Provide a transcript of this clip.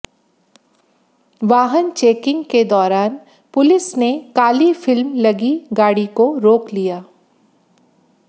वाहन चेकिंग के दौरान पुलिस ने काली फिल्म लगी गाड़ी को रोक लिया